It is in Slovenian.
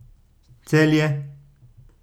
Celje.